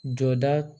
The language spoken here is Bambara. Jɔda